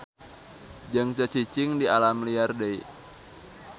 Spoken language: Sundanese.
Jeung teu cicing di alam liar deui.